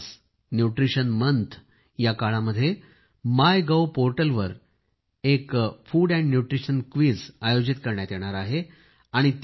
पोषण Maah nutrition month या काळामध्ये माय गव्ह पोर्टलवर एक फूड अँड न्यूट्रिशन क्विज आयोजित करण्यात येणार आहे